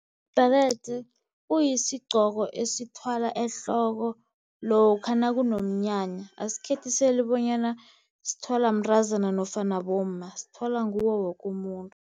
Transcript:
Ibherede kuyisigqoko esithwalwa ehloko lokha nakunomnyanya, asikhethiseli bonyana sithwalwa mntazana nofana bomma sithwalwa nguwo woke umuntu.